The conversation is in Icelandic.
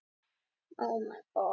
Skemmtilegri leikur kvöldsins.